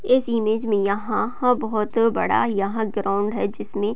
इस इमेज मे यहाँ हा बहोत बड़ा यहाँ ग्राउंड है । जिसमे --